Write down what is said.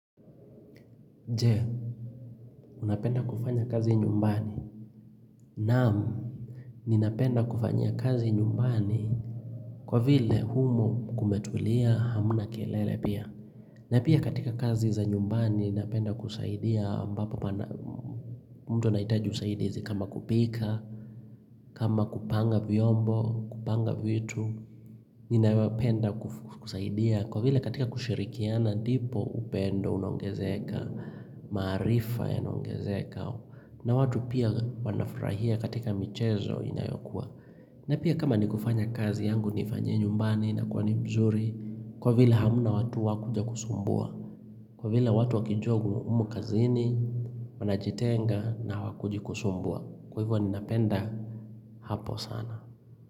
Jee unapenda kufanya kazi nyumbani naam ninapenda kufanyia kazi nyumbani kwa vile humo kumetulia hamna kelele pia na pia katika kazi za nyumbani ninapenda kusaidia ambapo pana mtu anahitaji usaidizi kama kupika kama kupanga vyombo kupanga vitu ninayopenda kukusaidia kwa vile katika kushirikiana ndipo upendo unaongezeka maarifa yanaongezeka na watu pia wanafurahia katika michezo inayokua na pia kama nikufanya kazi yangu nifanyie nyumbani na kwani mzuri kwa vila hamna watu wakuja kusumbua kwa vile watu wakijua umo umu kazini wanajitenga na hawakuji kusumbua kwa hivyo ni napenda hapo sana.